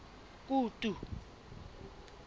kutu